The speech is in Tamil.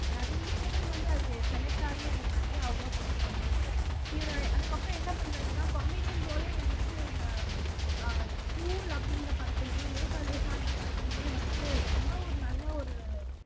நிறைய டைம் வந்து அது செலக்ட் ஆகி அதுக்கு நிறைய அவார்ட்ஸ் வந்து வந்திருக்கு இவரு அதுக்கப்புறம் என்ன பண்றாருன்னா காமிடியன் ரோலே வந்துட்டு இந்த ஆஹ் தூள் அப்படிங்கிற படத்திலேயும் லேசா லேசான படத்திலேயுமே வந்துட்டு ரொம்ப ஒரு நல்ல ஒரு